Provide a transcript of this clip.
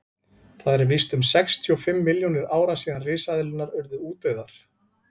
það eru víst um sextíu og fimm milljónir ára síðan risaeðlurnar urðu útdauðar